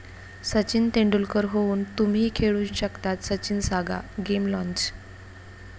सचिन तेंडुलकर होऊन तुम्हीही खेळून शकतात, 'सचिन सागा..' गेम लाँच